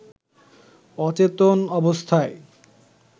অচেতন অবস্থায়